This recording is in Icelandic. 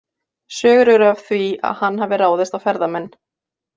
Sögur eru af því að hann hafi ráðist á ferðamenn.